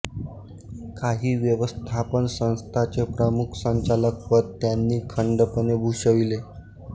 काही व्यवस्थापन संस्थांचे प्रमुख संचालकपद त्यांनी खंडपणे भूषविले